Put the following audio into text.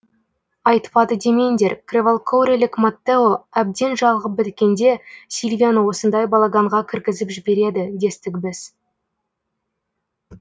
айтпады демеңдер кревалкуорелік маттео әбден жалығып біткенде сильвияны осындай балаганға кіргізіп жібереді дестік біз